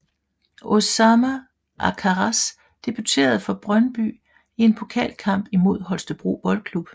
Osama Akharraz debuterede for Brøndby i en pokalkamp imod Holstebro Boldklub